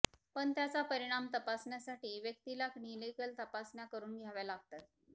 पण त्याचा परिणाम तपासण्यासाठी व्यक्तीला क्लिनिकल तपासण्या करुन घ्याव्या लागतात